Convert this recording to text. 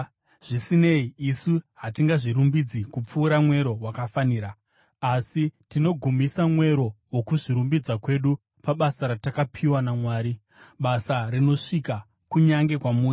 Zvisinei, isu hatingazvirumbidzi kupfuura mwero wakafanira, asi tinogumisa mwero wokuzvirumbidza kwedu pabasa ratakapiwa naMwari, basa rinosvika kunyange kwamuri.